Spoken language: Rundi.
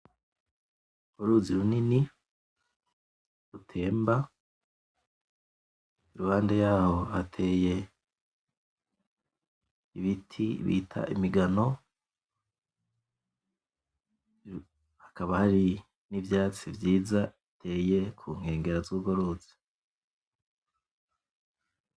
Uruzi runini rutemba iruhande yaho hateye ibiti bita imigano hakaba hari n'ivyatsi vyiza biteye kunkegera zurwo ruzi.